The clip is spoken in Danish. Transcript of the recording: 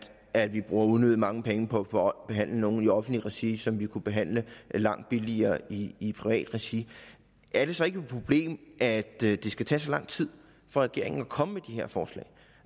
at vi bruger unødig mange penge på på at behandle nogen i offentlig regi som vi kunne behandle langt billigere i i privat regi er det så ikke et problem at det skal tage så lang tid for regeringen at komme med de her forslag